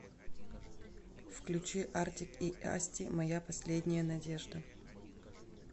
включи артик и асти моя последняя надежда